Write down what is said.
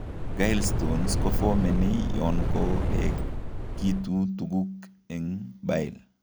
Gallstones kofomeni yoonkouekitu tuguk eng' bile